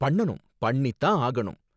பண்ணனும், பண்ணி தான் ஆகணும்.